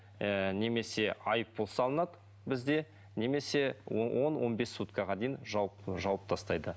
ыыы немесе айыппұл салынады бізде немесе он он бес суткаға дейін жауып жауып тастайды